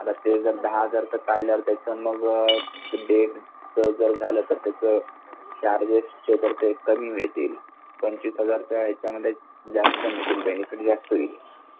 आता ते जर दहा हजारच काढल तर नव्वद डे झाल तर त्याच चार्गेस चे तर कमी मिळतील पंचवीस हजाराच्या इच्या त जास्त मिळतील बेनिफिट जास्त येईन